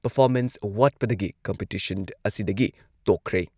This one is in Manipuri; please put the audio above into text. ꯄꯔꯐꯣꯃꯦꯟꯁ ꯋꯥꯠꯄꯗꯒꯤ ꯀꯝꯄꯤꯇꯤꯁꯟ ꯑꯁꯤꯗꯒꯤ ꯇꯣꯛꯈ꯭ꯔꯦ ꯫